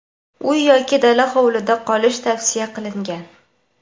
uy yoki dala hovlida qolish tavsiya qilingan.